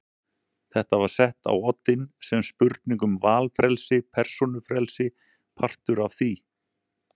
Þetta var sett á oddinn sem spurning um valfrelsi, persónufrelsi, partur af því.